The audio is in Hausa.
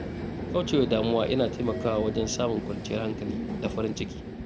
Kaucewa damuwa yana taimakawa wajen samun kwanciyar hankali da farin ciki.